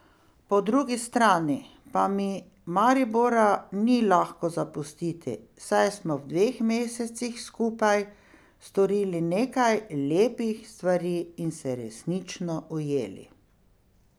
Po drugi strani pa mi Maribora ni lahko zapustiti, saj smo v dveh mesecih skupaj storili nekaj lepih stvari in se resnično ujeli.